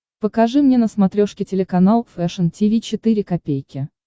покажи мне на смотрешке телеканал фэшн ти ви четыре ка